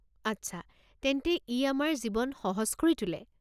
আচ্ছা, তেন্তে ই আমাৰ জীৱন সহজ কৰি তোলে।